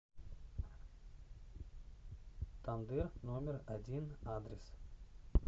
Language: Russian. тандыр номер один адрес